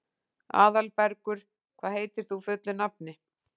Aðalbergur, hvað heitir þú fullu nafni?